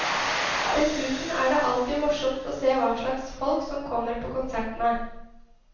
Dessuten er det alltid morsomt å se hva slags folk som kommer på konsertene.